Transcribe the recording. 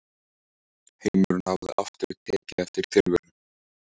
Heimurinn hafði aftur tekið eftir tilveru